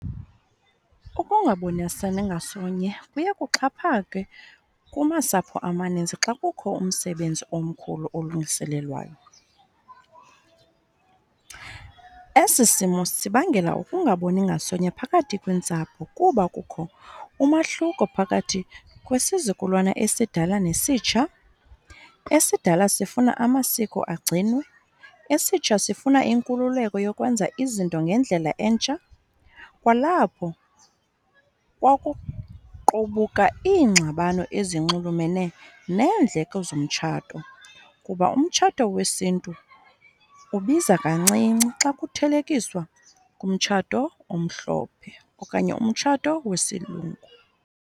Ukungabonisani ngasonye kuye kuxhaphake kumasapho amaninzi xa kukho umsebenzi omkhulu olungiselelwayo. Esi simo sibangela ukungaboni ngasonye phakathi kweentsapho kuba kukho umahluko phakathi kwesizukulwana esidala nesitsha. Esidala sifuna amasiko agcinwe, esitsha sifuna inkululeko yokwenza izinto ngendlela entsha. Kwalapho kwakuqubuka iingxabano ezinxulumene neendleko zomtshato kuba umtshato wesiNtu ubiza kancinci xa kuthelekiswa kumtshato omhlophe okanye umtshato wesilungu.